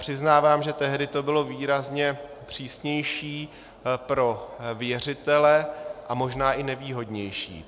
Přiznávám, že tehdy to bylo výrazně přísnější pro věřitele a možná i nevýhodnější.